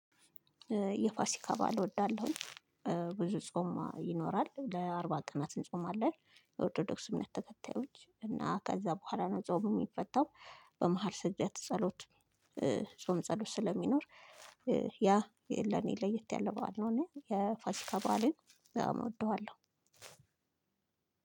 የፋሲካ በዓል እወዳለሁኝ። ብዙ ጾም ይኖራል ለአርባ ቀናት እንጾማለን የኦርቶዶክስ እምነት ተከታዮች እና ከዛ በኋላ ነው ጾም የሚፈታው። በመሃል ሰግደት ጸሎት ጾም ጸሎት ስለሚኖር። ያ ለኔ ለየት ያለው በዓል ነው። እኔ የፋሲካ በዓልን በጣም እወደዋለሁ።